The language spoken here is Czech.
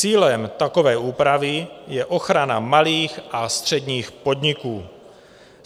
Cílem takové úpravy je ochrana malých a středních podniků.